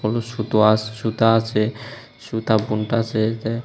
সুতো আছ সুতা আছে সুতা বুনতাছে যায়--